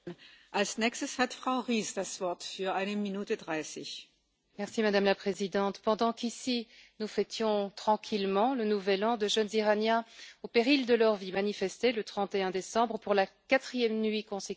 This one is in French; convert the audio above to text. Madame la Présidente, pendant qu'ici nous fêtions tranquillement le nouvel an, de jeunes Iraniens, au péril de leur vie, manifestaient le 31 décembre pour la quatrième nuit consécutive à Machhad, à Qom, à Téhéran et dans d'autres grandes villes.